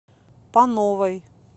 пановой